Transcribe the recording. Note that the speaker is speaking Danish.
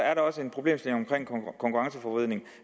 er der også en problemstilling omkring konkurrenceforvridning